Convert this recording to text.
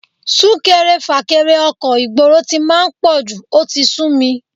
Sún-kẹrẹ-fà-kẹrẹ ọkọ̀ ìgboro tí máa ń pọ̀jù, ó sì ti súmi